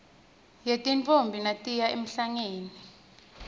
yetintfombi natiya emhlangeni